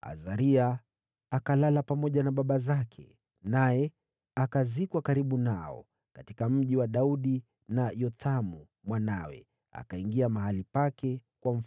Azaria akalala pamoja na baba zake, naye akazikwa karibu nao katika Mji wa Daudi, na Yothamu mwanawe akawa mfalme